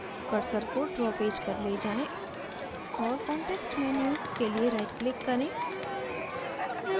cursor को draw page पर ले जाएँ और context menu के लिए rightclick करें